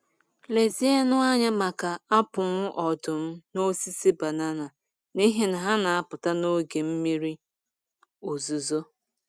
Lezienụ anya maka akpụ̀wụ̀ ọdụm n’osisi banana, n’ihi na ha na-apụta n’oge mmiri ozuzo.